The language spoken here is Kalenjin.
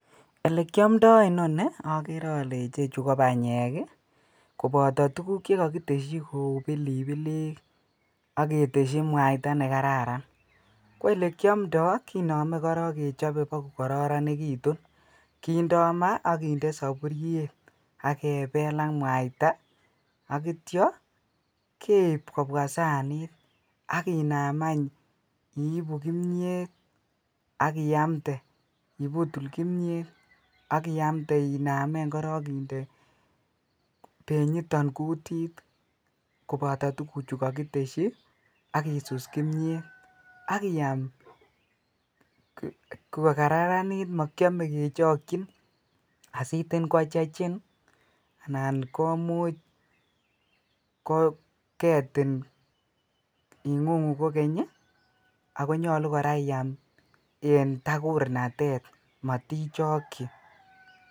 Elekiomndo inonii okere olee ichechu kobanyek koboto tukuk che kokiteshi kouu pilipilik ak keteshi mwaita nekararan, ko elekiomndo kinome korong kechobe kokokoronekitun, kindo maa ak kinde soburiet ak kebel ak mwaita akityo keib kobwa saniit ak Inam any iibu kimnyet ak iamte, ibutul kimnyet ak iamte inamen korong inde benyiton kutit koboto tukuchu kokiteshi ak isus kimnyet ak iaam ko kararanit mokiome kechokyin asitin kochechin anan komuch koketin ing'ung'u kokeny ak konyolu kora iyam en takurnatet motichokyi.